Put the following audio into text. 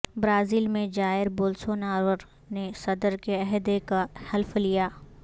Brazil میں Jair Bolsonaro نے صدر کے عہدے کا حلف لیا